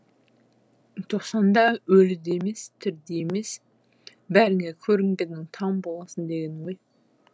тоқсанда өлі де емес тірі де емес бәріне көрінгеннің таң боласың деген ғой